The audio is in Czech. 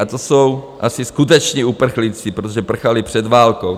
A to jsou asi skuteční uprchlíci, protože prchali před válkou.